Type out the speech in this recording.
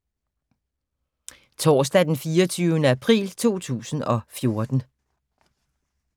Torsdag d. 24. april 2014